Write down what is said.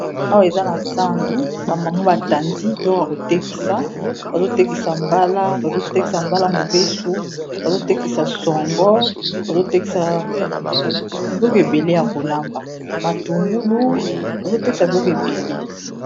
Awa eza na zando ba mama ba tandi biloko ya ko tekisa, bazo tekisa mbala bazo tekisa mbala mobeso, bazo tekisa songo, bazo tekisa biloko ebele ya kolamba, matungulu, bazo tekisa biloko ebele.